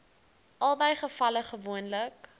albei gevalle gewoonlik